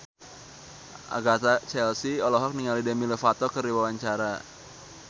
Agatha Chelsea olohok ningali Demi Lovato keur diwawancara